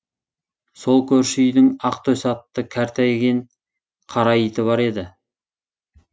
сол көрші үйдің ақтөс атты кәртейген қара иті бар еді